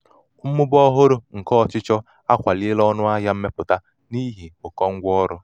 mmụba ọhụrụ mmụba ọhụrụ nke ọchịchọ akwaliela ọnụ ahịa mmepụta n'ihi ụkọ ngwa ọrụ.